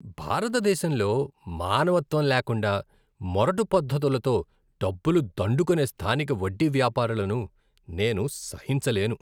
భారతదేశంలో మానవత్వం లేకుండా మొరటు పద్ధతులతో డబ్బులు దండుకునే స్థానిక వడ్డీ వ్యాపారులను నేను సహించలేను.